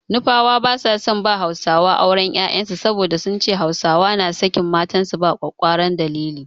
Nufawa ba su son ba Hausawa auren 'ya'yansu saboda sun ce Hausawa na sakin matansu ba ƙwaƙƙwaran dalili.